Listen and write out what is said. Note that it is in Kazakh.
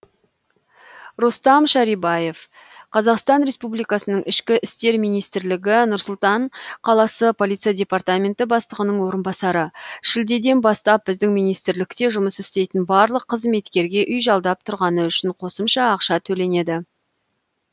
рустам шарибаев қазақстан республикасының ішкі істер минмистірлігі нұр сұлтан қаласы полиция департаменті бастығының орынбасары шілдеден бастап біздің министрлікте жұмыс істейтін барлық қызметкерге үй жалдап тұрғаны үшін қосымша ақша төленеді